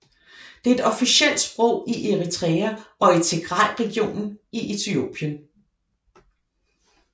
Det er et officielt sprog i Eritrea og i Tigrayregionen i Etiopien